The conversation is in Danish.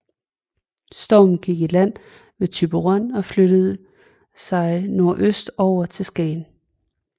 Stormen gik i land ved Thyborøn og flyttede sig nordøstover til Skagen